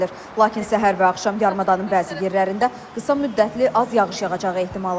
Lakin səhər və axşam yarımadanın bəzi yerlərində qısa müddətli az yağış yağacağı ehtimalı var.